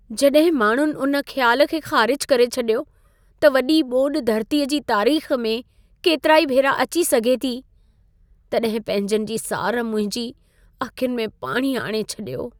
जॾहिं माण्हुनि उन ख़्यालु खे ख़ारिजु करे छॾियो त वॾी ॿोॾि धरतीअ जी तारीख़ में केतिराई भेरा अची सघे थी, तॾहिं पंहिंजनि जी सार मुंहिंजी अखियुनि में पाणी आणे छॾियो।